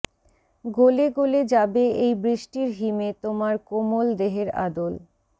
গলে গলে যাবে এই বৃষ্টির হিমে তোমার কোমল দেহের আদল